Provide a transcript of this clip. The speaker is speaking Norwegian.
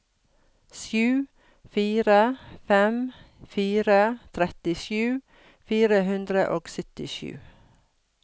sju fire fem fire trettisju fire hundre og syttisju